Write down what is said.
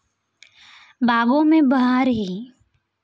बागों में बहार है